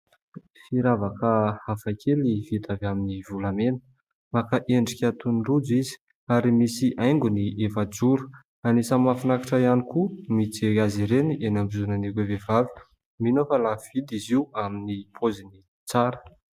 Firavaka hafa kely vita avy amin'ny volamena. Maka endrika toy ny rojo izy ary misy haingony efa-joro. Anisan'ny mahafinaritra ihany koa mijery azy ireny eny ambozonan'ireo vehivavy. Mino aho fa lafo vidy izy io amin'ny paoziny tsara.